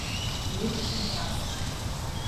Lepi kontrasti ...